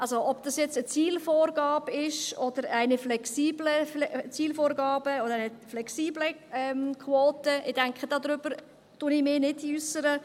Also: Ob dies nun eine Zielvorgabe ist, eine flexible Zielvorgabe oder eine flexible Quote – ich denke, dazu äussere ich mich nicht.